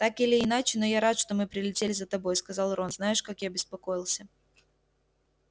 так или иначе но я рад что мы прилетели за тобой сказал рон знаешь как я беспокоился